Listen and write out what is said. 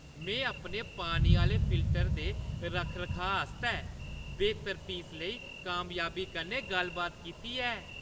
में अपने पानी आह्‌ले फिल्टरै दे रक्ख-रखाऽ आस्तै बेह्‌तर फीसा लेई कामयाबी कन्नै गल्लबात कीती ऐ।